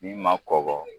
Min ma kɔkɔ